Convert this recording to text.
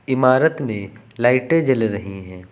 इमारत में लाइटें जल रही है।